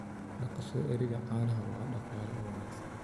Dhaqashada ariga caanaha waa il dhaqaale oo wanaagsan.